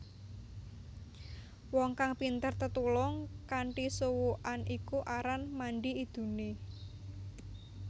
Wong kang pinter tetulung kanthi suwukan iku aran mandi idune